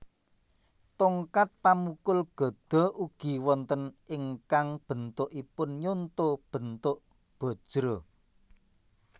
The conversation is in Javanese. Tongkat pamukul gada ugi wonten ingkang bentukipun nyonto bentuk bajra